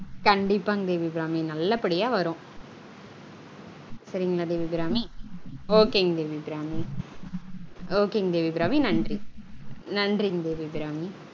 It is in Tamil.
கண்டீப்பாங்க தேவியபிராமி நல்ல படியா வரும் சரிங்களா தேவியபிராமி ok ங்க தேவியபிராமி ok ங்க தேவிஅபிராமி நன்றி நன்றிங்க த்